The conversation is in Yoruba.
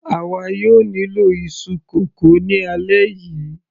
àwa yóò nílò iṣu kókò ni alẹ́ yìí